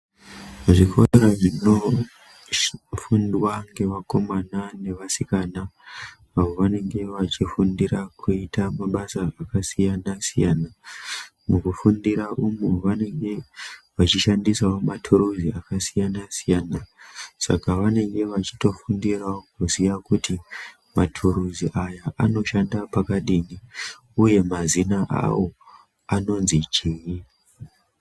Zvikora zvinofundwa neakomana neasikana awo avo vanenge vechifundira kuite mabasa akasiyana siyana .Mukufundira umwu vanenge vechishandisa maturuzi akasiyana siyana ,saka vanenge vachitofundirawo zviya kuti maturuzi aya anoshanda pakadini uye mazina awo awo anonzi chii.